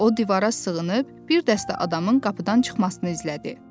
O divara sığınıb, bir dəstə adamın qapıdan çıxmasını izlədi.